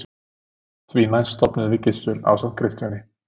Því næst stofnuðum við Gissur ásamt Kristjáni